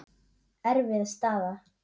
Erfið staða.